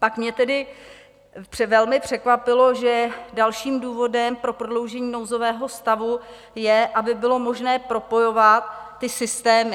Pak mě tedy velmi překvapilo, že dalším důvodem pro prodloužení nouzového stavu je, aby bylo možné propojovat ty systémy.